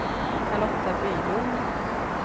Charlotta Bylund